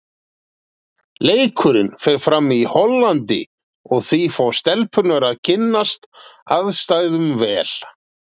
Leikurinn fer fram í Hollandi og því fá stelpurnar að kynnast aðstæðum vel.